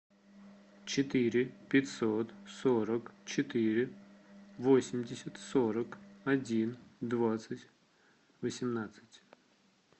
четыре пятьсот сорок четыре восемьдесят сорок один двадцать восемнадцать